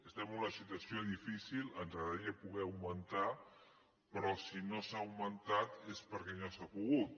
estem en una situació difícil ens agradaria poder augmentar però si no s’ha augmentat és perquè no s’ha pogut